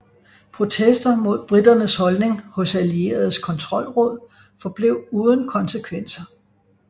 Protester mod briternes holdning hos allieredes kontrollråd forblev uden konsekvenser